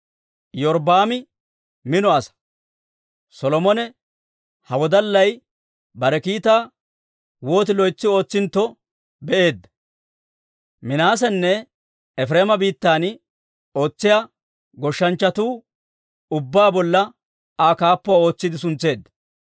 Iyorbbaami mino asaa; Solomone ha wodallay bare kiitaa wooti loytsi ootsintto be'eedda; Minaasenne Efireema biittan ootsiyaa goshshanchchatuu ubbaa bolla Aa kaappuwaa ootsiide suntseedda.